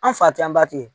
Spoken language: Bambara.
An fa tɛ anba ten